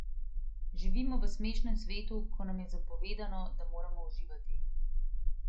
Živimo v smešnem svetu, ko nam je zapovedano, da moramo uživati.